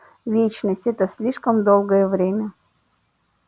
вечность это слишком долгое время